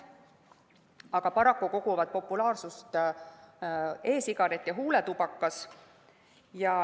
Aga paraku koguvad populaarsust e‑sigaret ja huuletubakas.